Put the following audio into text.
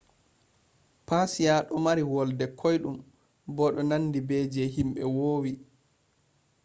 persia do mari volde koidum bo do nandi be je himbe vowi